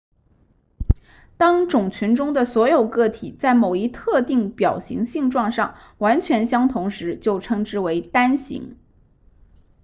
当种群中的所有个体在某一特定表型性状上完全相同时就称之为单型